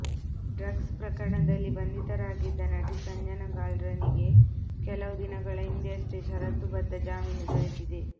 drugs ಪ್ರಕರಣದಲ್ಲಿ ಬಂಧಿತರಾಗಿದ್ದ ನಟಿ ಸಂಜನಾ ಗಲ್ರಾನಿಗೆ ಕೆಲವು ದಿನಗಳ ಹಿಂದಷ್ಟೆ ಷರತ್ತು ಬದ್ಧ ಜಾಮೀನು ದೊರೆತಿದೆ